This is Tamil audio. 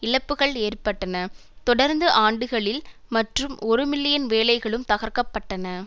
இழப்புக்கள் ஏற்பட்டன தொடர்ந்த ஆண்டுகளில் மற்றும் ஒரு மில்லியன் வேலைகளும் தகர்க்க பட்டன